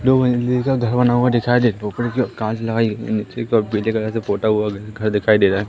दो मंजिले का घर बना हुआ दिखाई दे कांच लगाई गई निचे कि ओर पीले कलर से पोता हुआ घर दिखाई दे रहा--